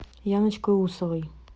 яночкой усовой